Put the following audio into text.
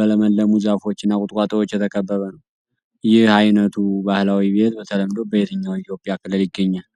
በለመለሙ ዛፎች እና ቁጥቋጦዎች የተከበበ ነው። ይህ ዓይነቱ ባህላዊ ቤት በተለምዶ በየትኛው የኢትዮጵያ ክልል ይገኛል?